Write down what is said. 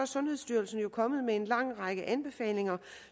sundhedsstyrelsen jo kommet med en lang række anbefalinger